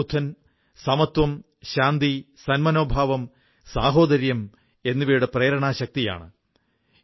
ഭഗവാൻ ബുദ്ധൻ സമത്വം ശാന്തി സന്മനോഭാവം സാഹോദര്യം എന്നിവയുടെ പ്രേരണാശക്തിയാണ്